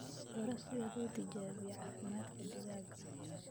Baro sida loo tijaabiyo caafimaadka digaaga.